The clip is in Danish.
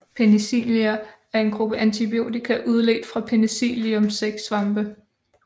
Penicilliner er en gruppe antibiotika udledt fra Penicillium sæksvampe